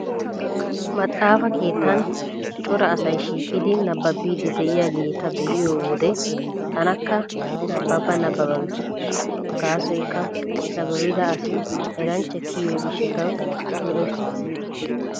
Maxaafa keettan cora asay shiiqidi nabbabiiddi de'iyageeta be'iyo wode tanakka nabbaba nabbaba gees. Gaasoykka nabbabida asi eranchcha kiyiyo gishshatawu lo"ees.